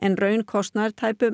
raunkostnaður tæpum